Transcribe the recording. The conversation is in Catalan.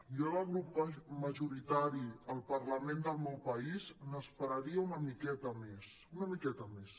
jo del grup majoritari al parlament del meu país n’esperaria una miqueta més una miqueta més